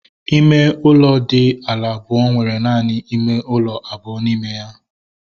Ime ụlọ dị ala abụọ nwere naanị ime ụlọ abụọ n'ime ya